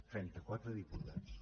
trenta quatre diputats